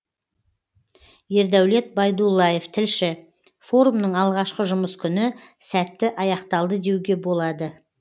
ердәулет байдуллаев тілші форумның алғашқы жұмыс күні сәтті аяқталды деуге болады